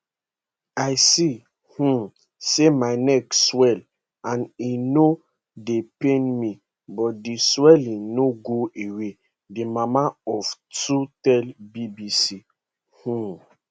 i see um say my neck swell and e no dey pain me but di swelling no go away di mama of two tell bbc um